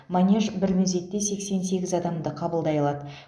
манеж бір мезетте сексен сегіз адамды қабылдай алады